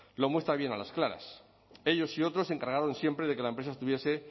lo muestra bien a las claras ellos y otros se encargaron siempre de que la empresa estuviese